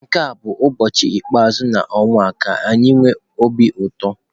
Nke a bụ ụbọchị ikpeazụ nke ọnwa ka anyi nwe obi ụtọ.